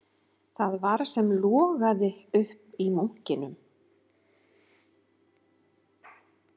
Það var sem logaði upp í munkinum